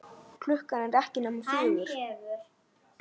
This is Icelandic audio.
Klukkan er ekki nema fjögur.